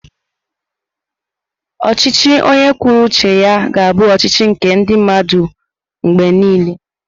Ọchịchị onye kwuo uche ya ga-abụ ọchịchị nke ndị mmadụ mgbe niile.